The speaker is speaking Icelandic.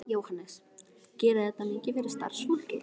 Jóhannes: Gerir þetta mikið fyrir starfsfólkið?